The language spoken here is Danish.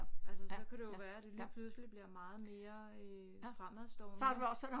Altså så kan det jo være det lige pludselig bliver meget mere øh fremadstående